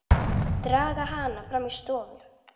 Draga hana fram í stofu.